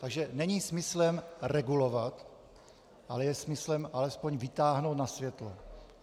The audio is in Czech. Takže není smyslem regulovat, ale je smyslem alespoň vytáhnout na světlo.